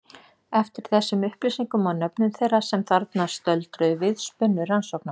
Eftir þessum upplýsingum og nöfnum þeirra sem þarna stöldruðu við spunnu rannsóknarmenn.